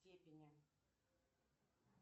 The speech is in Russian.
степени